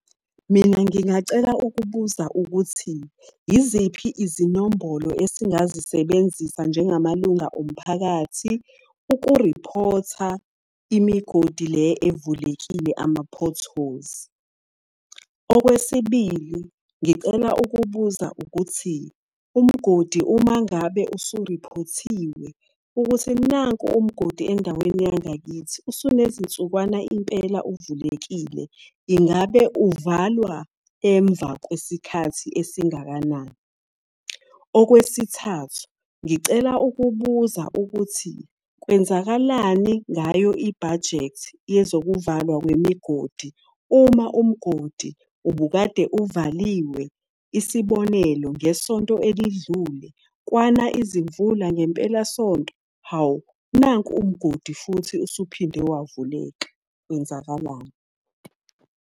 Mina ngingacela ukubuza ukuthi, yiziphi izinombholo esingazisebenzisa njengamalunga omphakathi ukuriphotha imigodi le evulekile ama-potholes. Okwesibili ngicela ukubuza ukuthi, umgodi uma ngabe usuriphothiwe, ukuthi nanku umgodi endaweni yangakithi, usunezinsukwana impela uvulekile. Ingabe uvalwa emva kwesikhathi esingakanani? Okwesithathu, ngicela ukubuza ukuthi kwenzakalani ngayo i-budget yezokuvalwa kwemigodi uma umgodi ubukade uvaliwe? Isibonelo, ngesonto elidlule kwana izimvula ngempelasonto, hawu! Nanku umgodi futhi usuphinde wavuleka. Kwenzakalani?